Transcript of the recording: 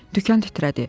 Dükan titrədi.